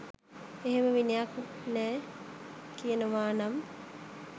එහෙම විනයක් නෑ කියනවා නම්